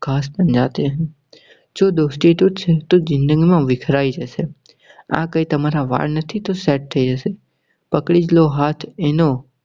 खास बन जाते है જો દોસ્તી તૂટશે તો માં વિખરાઈ જશે. આ કઈ તમારાં વાળ નહી કે set થઇ જશે. પકડી લો હાથ એનો